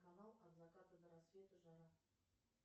канал от заката до рассвета жара